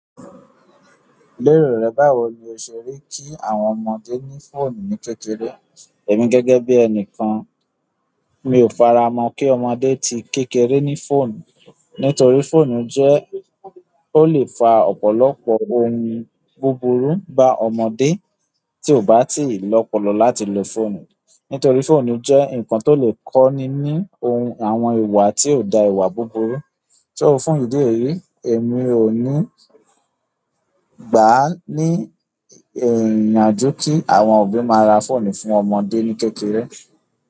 Lérò rẹ báwo ni o ṣe rí kí àwọn ọmọdé ní fóònù ní kékeré? Èmi gẹ́gẹ́ bí ẹni kan, mi ò faramọ́ kí ọmọdé tí kékeré ní fóònù. Nítorí fóònù jẹ́ ó lè fa ọ̀pọ̀lọpọ̀ ohun búburú bá ọmọdé tí ò bá tíì lọ́pọlọ láti lo fóònù. Nítorí fóònù jẹ́ ǹkan tó lè kọ́ni ní ohun àwọn ìwà tí ò da ìwà búburú. Ṣé o fún ìdí èyí, èmi ò ní gbà á ní ìrìnàjò kí àwọn òbí máa ra fóònù fún ọmọdé ní kékeré.